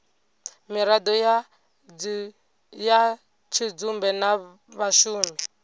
miraḓo ya tshidzumbe na vhashumi